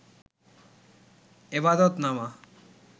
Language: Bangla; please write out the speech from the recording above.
এবাদত নামা